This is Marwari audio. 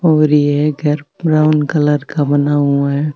और यह घर ब्राउन कलर का बना हुआ है।